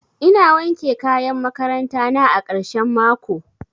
Ina wanke kayan makaranta na a karshen mako